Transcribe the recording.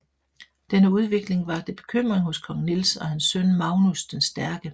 Denne udvikling vakte bekymring hos kong Niels og hans søn Magnus den Stærke